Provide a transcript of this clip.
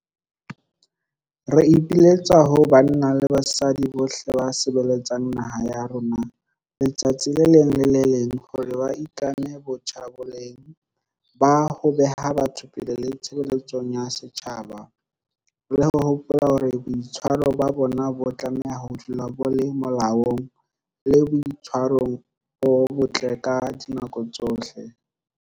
Re ipiletsa ho banna le basadi bohle ba sebeletsang naha ya rona letsatsi le leng le le leng hore ba itlame botjha boleng ba ho beha batho pele le tshebeletsong ya setjhaba, le ho hopola hore boitshwaro ba bona bo tlameha ho dula bo le molaong le boitshwarong bo botle ka dinako tsohle.